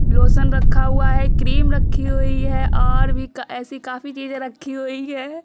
Lotion रखा हुआ है। क्रीम रखी हुई है और भी ऐसी काफी चीजें रखी हुई हैं।